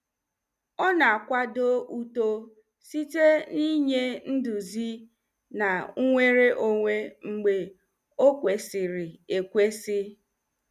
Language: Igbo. Ọ na-akwado uto site n'inye nduzi na nnwere onwe mgbe o kwesịrị ekwesị.